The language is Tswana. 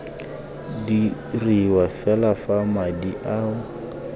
diriwa fela fa madi ao